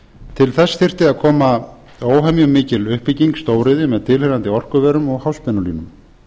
til þess þyrfti að koma óhemju mikil uppbygging stóriðju með tilheyrandi orkuverum og háspennulínum